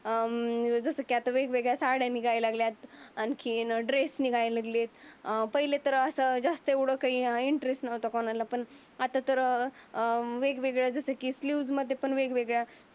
अं जसं की आता वेगवेगळ्या साड्या निघायल्या लागल्या. आणखीन ड्रेस निघायला लागले. अं पहिले तर अस जास्त एवढ काही इंटरेस्ट नव्हता कोणाला पण आता तर अं वेगवेगळ्या जस की फ्यूज मध्ये पण वेगवेगळ्या